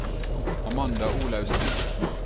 Amanda Olaussen